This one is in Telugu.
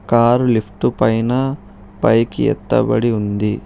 కారు లిఫ్టు పైన పైకి ఎత్తబడి ఉంది.